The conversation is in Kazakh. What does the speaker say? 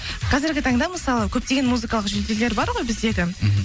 қазіргі таңда мысалы көптеген музыкалық жүлделер бар ғой біздегі мхм